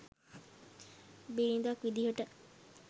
බිරිඳක් විදියට.